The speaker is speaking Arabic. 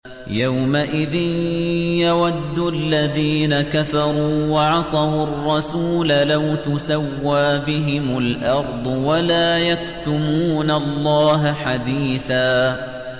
يَوْمَئِذٍ يَوَدُّ الَّذِينَ كَفَرُوا وَعَصَوُا الرَّسُولَ لَوْ تُسَوَّىٰ بِهِمُ الْأَرْضُ وَلَا يَكْتُمُونَ اللَّهَ حَدِيثًا